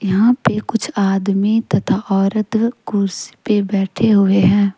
यहां पे कुछ आदमी तथा औरत कुर्सी पे बैठे हुए हैं।